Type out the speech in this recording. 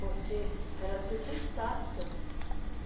Porque era tudo estátua.